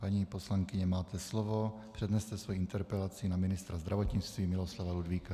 Paní poslankyně, máte slovo, předneste svoji interpelaci na ministra zdravotnictví Miloslava Ludvíka.